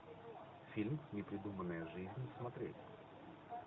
фильм непридуманная жизнь смотреть